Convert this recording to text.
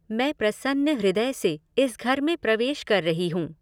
मैं प्रसन्न हृदय से इस घर में प्रवेश कर रही हूँ।